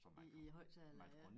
I i æ højttaler ja